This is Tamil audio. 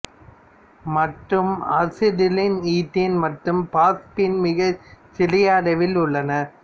மற்றும் அசிடிலின்ஈதேன் மற்றும் பாஸ்பீன் மிக சிறிய அளவில் உள்ளன